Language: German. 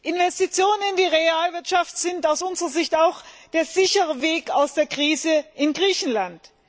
Investitionen in die Realwirtschaft sind aus unserer Sicht auch der sichere Weg aus der Krise in Griechenland.